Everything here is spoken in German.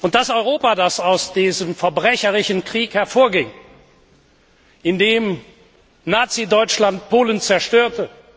Das Europa, das aus diesem verbrecherischen Krieg hervorging, in dem Nazi Deutschland Polen zerstörte